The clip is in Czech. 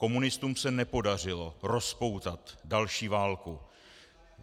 Komunistům se nepodařilo rozpoutat další válku.